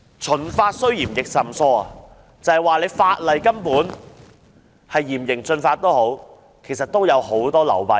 "秦法雖嚴亦甚疏"，指的就是儘管實施嚴刑峻法，但當中卻有很多流弊。